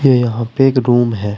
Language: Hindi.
यहां पे एक रूम है।